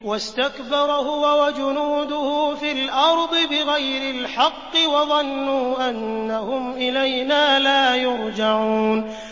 وَاسْتَكْبَرَ هُوَ وَجُنُودُهُ فِي الْأَرْضِ بِغَيْرِ الْحَقِّ وَظَنُّوا أَنَّهُمْ إِلَيْنَا لَا يُرْجَعُونَ